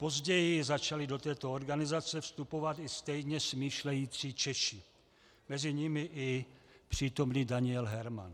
Později začali do této organizace vstupovat i stejně smýšlející Češi, mezi nimi i přítomný Daniel Herman.